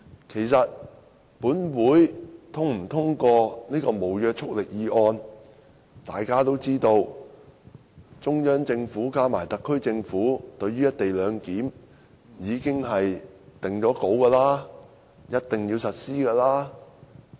其實，無論立法會是否通過這項無約束力議案，大家都知道，中央政府加上特區政府對於"一地兩檢"已經定案，一定要實施。